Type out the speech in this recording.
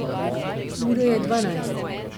Ura je dvanajst.